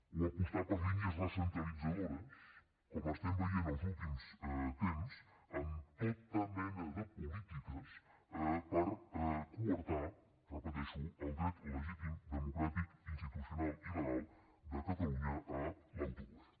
o apostar per línies recentralitzadores com estem veient els últims temps amb tota mena de polítiques per coartar ho repeteixo el dret legítim democràtic institucional i legal de catalunya a l’autogovern